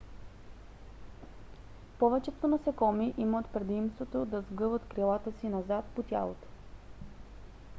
повечето насекоми имат предимството да сгъват крилата си назад по тялото